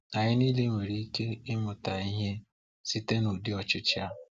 Anyị niile nwere ike ịmụta ihe site n’ụdị ochichi a